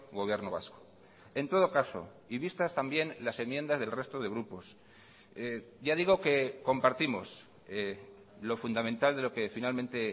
gobierno vasco en todo caso y vistas también las enmiendas del resto de grupos ya digo que compartimos lo fundamental de lo que finalmente